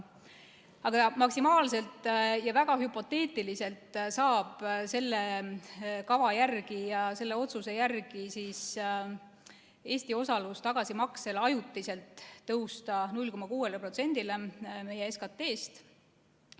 Aga jah, maksimaalselt ja väga hüpoteetiliselt saab selle kava järgi, selle otsuse järgi Eesti osalus tagasimaksel ajutiselt tõusta 0,6%-le meie SKT-st.